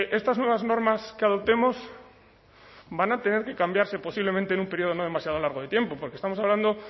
estas nuevas normas que adoptemos van a tener que cambiarse posiblemente en un periodo no demasiado largo de tiempo porque estamos hablando